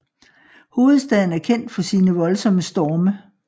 Hovedstaden er kendt for sine voldsomme storme